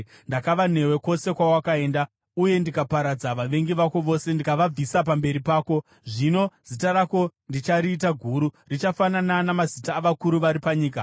Ndakava newe kwose kwawakaenda, uye ndakaparadza vavengi vako vose ndikavabvisa pamberi pako. Zvino zita rako ndichariita guru, richafanana namazita avakuru vari panyika.